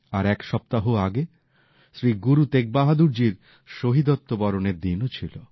প্রায় এক সপ্তাহ আগে শ্রী গুরু তেগবাহাদুরজীর শহীদত্ব বরণের দিনও ছিল